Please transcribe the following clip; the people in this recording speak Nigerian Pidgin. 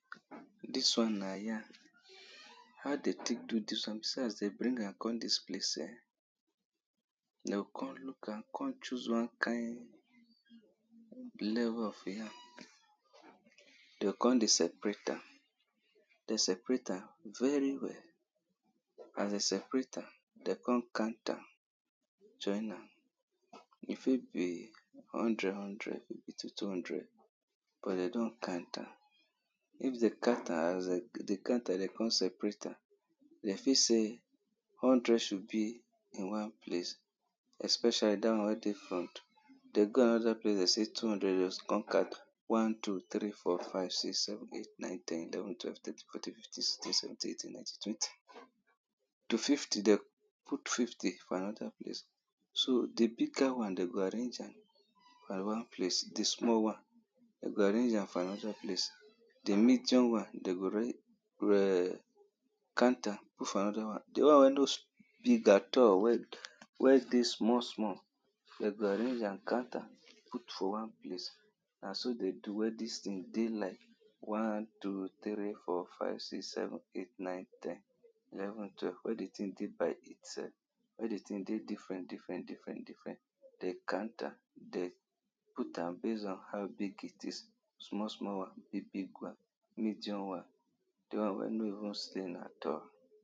dis one na yam, how dey take do this one, see as dem bring am come dis place um, dey go con look am, con choose one kind of the yam, dey go come separate am, dey separate am very well, as dey separate am, dey go con count am join am, if e be hundred hundred two two hundred cos dey don count am, if dey count am as count am dey go con separate am, dem fi say hundred should be in one place especially dat one wey dey front, dey go another place dey say two hundred rows con count one two three four five six seven eight nine ten eleven twelve thirteen fourteen fifteen sixteen seventeen eighteen nineteen twenty to fifty dem, dey go put fifty for another place, so the bigger one dey go arrange am for one place, dis small one dem go arrange am for another place, de medium one, dey go count am put for another one, de one wey no sm big at all wey wey dey small small dey go arrange am count am put for one place, na so dey do wey dis thing do like one two three four five six seven eight nine ten eleven twelve wey de tin dey like dis self, wey the tin dey different different different different, dey count am, the put am based on how big it is, the small small one, the big big one, the medium one, the one way no even at all